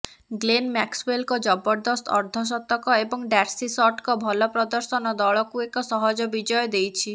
Glenn ମ୍ୟାକ୍ସୱେଲଙ୍କ ଜବରଦସ୍ତ ଅର୍ଦ୍ଧଶତକ ଏବଂ ଡାର୍ସି ସଟଙ୍କ ଭଲ ପ୍ରଦର୍ଶନ ଦଳକୁ ଏକ ସହଜ ବିଜୟ ଦେଇଛି